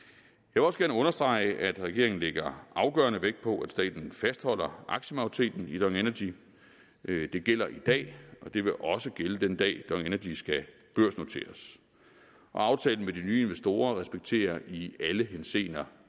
vil også gerne understrege at regeringen lægger afgørende vægt på at staten fastholder aktiemajoriteten i dong energy det gælder i dag og det vil også gælde den dag dong energy skal børsnoteres og aftalen med de nye investorer respekterer i alle henseender